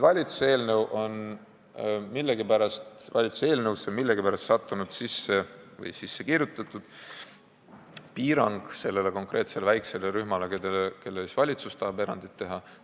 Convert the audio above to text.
Valitsuse eelnõusse on millegipärast sisse sattunud või sisse kirjutatud piirang konkreetsele väikesele rühmale, kellele valitsus tahab erandi teha.